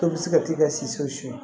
Dɔ bɛ se ka t'i ka si so suɲɛ